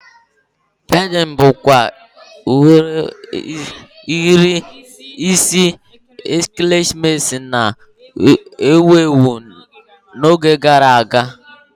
Pemin bụkwa udiri isi ekeresimesi na-ewu ewu n'oge gara aga